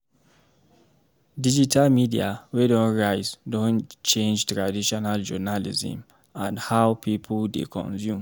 Digital media wey don rise don change traditional journalism and how people dey consume.